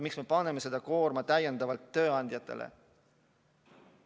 Miks me paneme selle koorma täiendavalt tööandjatele?